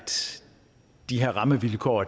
de her rammevilkår